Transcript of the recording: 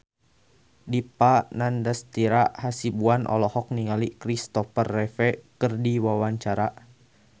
Dipa Nandastyra Hasibuan olohok ningali Kristopher Reeve keur diwawancara